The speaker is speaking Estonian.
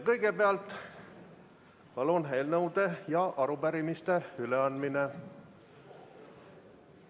Kõigepealt, palun, eelnõude ja arupärimiste üleandmine.